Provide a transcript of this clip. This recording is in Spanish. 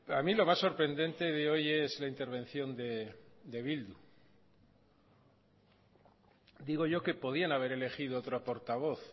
a mí lo más sorprendente de hoy es la intervención de bildu digo yo que podían haber elegido otro portavoz